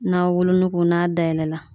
N'a wolonugu n'a dayɛlɛ la